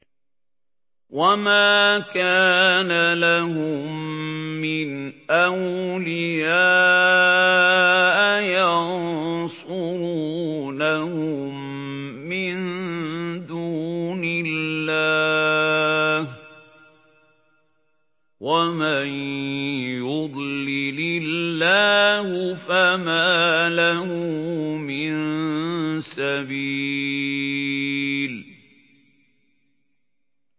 وَمَا كَانَ لَهُم مِّنْ أَوْلِيَاءَ يَنصُرُونَهُم مِّن دُونِ اللَّهِ ۗ وَمَن يُضْلِلِ اللَّهُ فَمَا لَهُ مِن سَبِيلٍ